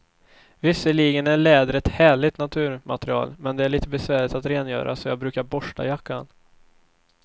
Visserligen är läder ett härligt naturmaterial, men det är lite besvärligt att rengöra, så jag brukar borsta jackan.